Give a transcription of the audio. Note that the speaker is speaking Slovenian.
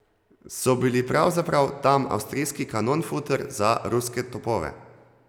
So bili pravzaprav tam avstrijski kanonfuter za ruske topove.